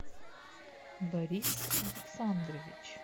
борис александрович